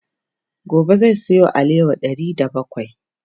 gobe zan Sayo alewa Ɗari da bakwai